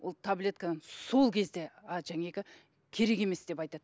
ол таблеткамен сол кезде а керек емес деп айтады